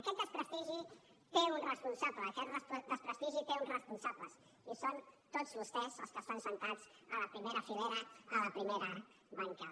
aquest desprestigi té un responsable aquest desprestigi té uns responsables i són tots vostès els que estan asseguts a la primera filera a la primera bancada